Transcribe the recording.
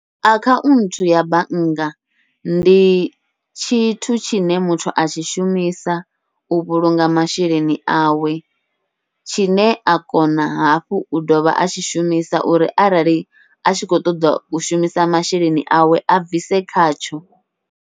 Akhaunthu ya bannga ndi tshithu tshine muthu a tshi shumisa u vhulunga masheleni awe, tshine a kona hafhu u dovha a tshi shumisa uri arali a tshi khou ṱoḓa u shumisa masheleni awe a bvise khatsho.